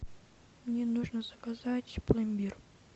мне нужно заказать пломбир